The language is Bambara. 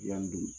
Yanni